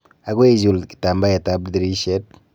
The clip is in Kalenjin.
Akoi ichul kitambaetab dirishet.